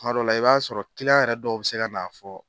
Tuma dɔ la i b'a sɔrɔ yɛrɛ dɔw bɛ se ka na fɔ.